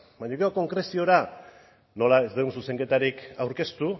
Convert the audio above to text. baina gero konkreziora nola ez dugu zuzenketarik aurkeztu